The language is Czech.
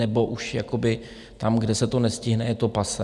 Nebo už tam, kde se to nestihne, je to passé?